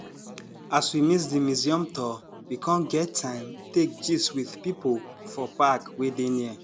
as we miss di museum tour we com get time take gist with people for park wey dey near